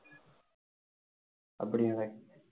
அப்படியா விவேக்